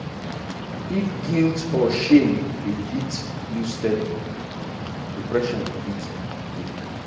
if guilt or shame dey hit you steady depression fit dey.